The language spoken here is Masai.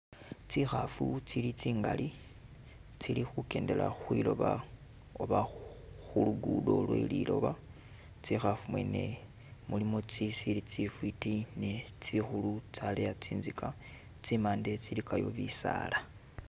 Tsikhaafu tsili tsingali, tsili khukendela khwiloba oba khu lugudo lwe liloba, tsikhaafu mwene mulimu tsisili tsifwiti ne tsikhulu tsyaleya tsinzika, tsimande tsilikayo bisaala.